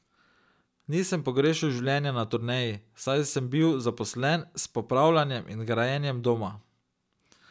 Nisem pogrešal življenja na turneji, saj sem bil zaposlen s popravljanjem in grajenjem doma.